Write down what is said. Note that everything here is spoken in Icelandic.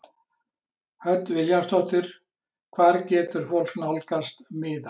Hödd Vilhjálmsdóttir: Hvar getur fólk nálgast miða?